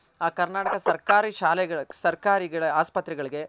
ಆ ಕರ್ನಾಟಕ ಸರ್ಕಾರಿ ಶಾಲೆಗಳ ಸರ್ಕಾರಿ ಹಾಸ್ಪತ್ರೆ ಗಳ್ಗೆ.